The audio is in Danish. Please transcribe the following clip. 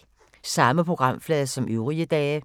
Samme programflade som øvrige dage